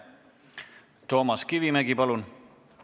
Toomas Kivimägi, palun!